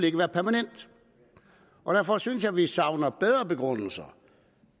ikke være permanent derfor synes jeg at vi savner bedre begrundelser